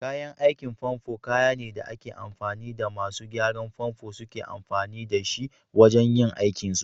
Kayan aikin famfo kayane da ake amfani da masu gyaran famfo suke amfani da shi wajan yin aikin su.